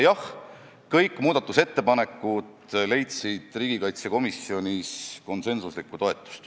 Jah, kõik muudatusettepanekud leidsid riigikaitsekomisjonis konsensusliku toetuse.